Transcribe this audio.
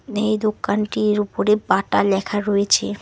নেই দোকানটির উপরে বাটা লেখা রয়েছে।